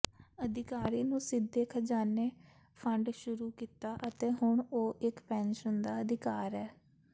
ਅਧਿਕਾਰੀ ਨੂੰ ਸਿੱਧੇ ਖਜ਼ਾਨੇ ਫੰਡ ਸ਼ੁਰੂ ਕੀਤਾ ਅਤੇ ਹੁਣ ਉਹ ਇੱਕ ਪੈਨਸ਼ਨ ਦਾ ਅਧਿਕਾਰ ਹੈ